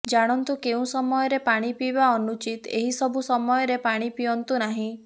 ଜାଣନ୍ତୁ କେଉଁ ସମୟରେ ପାଣି ପିଇବା ଅନୁଚିତ ଏହି ସବୁ ସମୟରେ ପାଣି ପିଅନ୍ତୁ ନାହିଁ